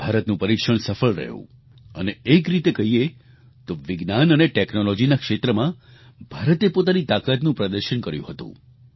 ભારતનું પરીક્ષણ સફળ રહ્યું અને એક રીતે કહીએ તો વિજ્ઞાન અને ટેક્નોલોજીના ક્ષેત્રમાં ભારતે પોતાની તાકાતનું પ્રદર્શન કર્યું હતું